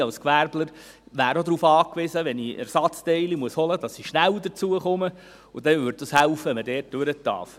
Ich als Gewerbler wäre auch darauf angewiesen, dass ich, wenn ich Ersatzteile holen muss, schnell dazu komme, und dann würde es helfen, wenn man dort durchfahren darf.